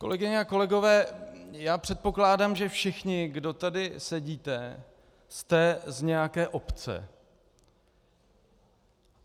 Kolegyně a kolegové, já předpokládám, že všichni, kdo tady sedíte, jste z nějaké obce.